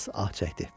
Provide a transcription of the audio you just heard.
Hans ah çəkdi.